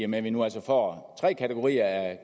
med at vi nu altså får tre kategorier af